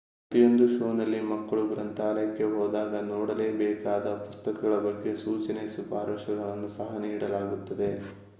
ಪ್ರತಿಯೊಂದು ಶೋನಲ್ಲಿ ಮಕ್ಕಳು ಗ್ರಂಥಾಲಯಕ್ಕೆ ಹೋದಾಗ ನೋಡಬೇಕಾದ ಪುಸ್ತಕಗಳ ಬಗ್ಗೆ ಸೂಚನೆ ಶಿಫಾರಸ್ಸುಗಳನ್ನು ಸಹ ನೀಡಲಾಗುತ್ತದೆ